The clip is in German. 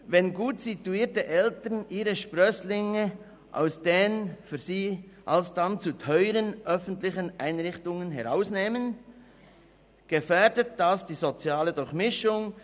Wenn gut situierte Eltern ihre Sprösslinge aus den für sie alsdann zu teuren öffentlichen Einrichtungen herausnehmen, gefährdet dies die soziale Durchmischung.